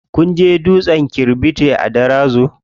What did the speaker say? Kun je dutsen kirɓiti a Darazo?